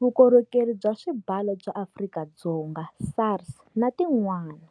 Vukorhokeri bya Swibalo bya Afrika-Dzonga, SARS, na tin'wana.